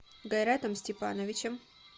гайратом степановичем